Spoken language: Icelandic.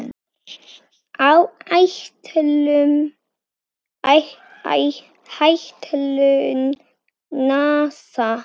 Áætlun NASA